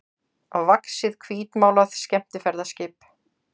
vaxið hvítmálað skemmtiferðaskip.